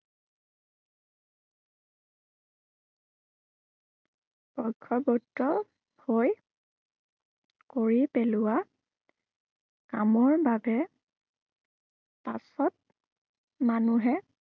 বৰ্শৱৰ্তী হৈ কৰি পেলোৱা কামৰ বাবে পাছত মানুহে